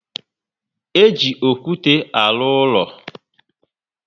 E ji okwute alụ úlọ